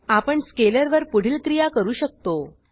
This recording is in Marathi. आपण स्केलर वर पुढील क्रिया करू शकतो